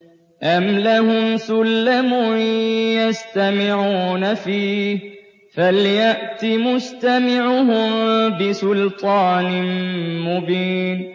أَمْ لَهُمْ سُلَّمٌ يَسْتَمِعُونَ فِيهِ ۖ فَلْيَأْتِ مُسْتَمِعُهُم بِسُلْطَانٍ مُّبِينٍ